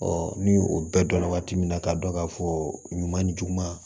ni o bɛɛ dɔnna waati min na k'a dɔn ka fɔ ɲuman ni juguman